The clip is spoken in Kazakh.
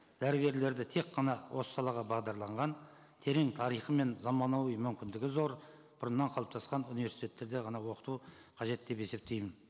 дәрігерлерді тек қана осы салаға бағдарланған терең тарихы мен заманауи мүмкіндігі зор бұрыннан қалыптасқан университеттерде ғана оқыту қажет деп есептеймін